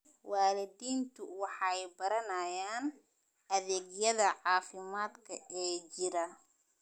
Waalidiintu waxay baranayaan adeegyada caafimaadka ee jira.